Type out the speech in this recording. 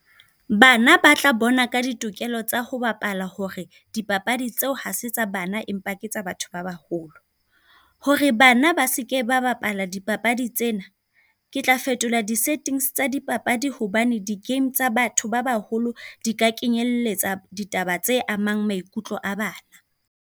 Bana ba tla bona ka ditokelo tsa ho bapala hore dipapadi tseo ha se tsa bana, empa ke tsa batho ba ba holo. Hore bana ba seke ba bapala dipapadi tsena, ke tla fetola di-settings tsa dipapadi hobane di-game tsa batho ba ba holo di ka kenyelletsa ditaba tse amang maikutlo a bana.